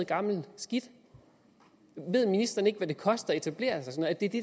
gammelt skidt ved ministeren ikke hvad det koster at etablere sig det er det